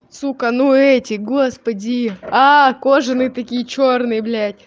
сука ну эти господи а кожаные такие чёрные блядь